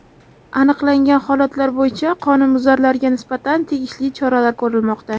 Aniqlangan holatlar bo‘yicha qonunbuzarlarga nisbatan tegishli choralar ko‘rilmoqda.